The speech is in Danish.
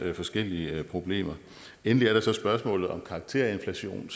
forskellige problemer endelig er der så spørgsmålet om karakterinflation